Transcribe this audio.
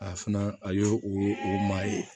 A fana a y'o o ma ye